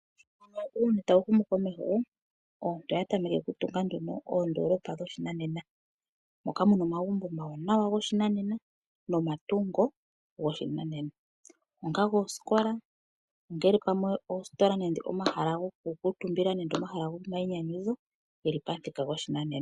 Sho uuyuni tawu humu komeho aantu oya tameke okutunga nduno oondoolopa dhoshinanena. Moka mu na omagumbo omawanawa goshinanena nomatungo goshinanena onga goosikola, ongele pamwe oositola nenge pamwe omahala gokukuutumbila, omahala gomayinyanyudho ge li pamuthika goshinanena.